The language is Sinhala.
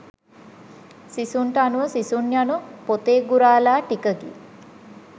සිසුන්ට අනුව සිසුන් යනු පොතේ ගුරාලා ටිකකි